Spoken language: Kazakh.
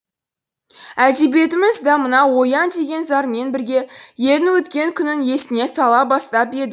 әдебиетіміз да мынау оян деген зармен бірге елдің өткен күнін есіне сала бастап еді